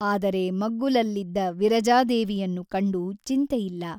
ಆದರೆ ಮಗ್ಗುಲಲ್ಲಿದ್ದ ವಿರಜಾದೇವಿಯನ್ನು ಕಂಡು ಚಿಂತೆಯಿಲ್ಲ.